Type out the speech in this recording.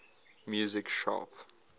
music sharp